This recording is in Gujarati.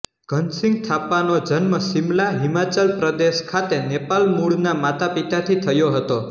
ધન સિંઘ થાપાનો જન્મ શિમલા હિમાચલ પ્રદેશ ખાતે નેપાલ મૂળના માતા પિતાથી થયો હતો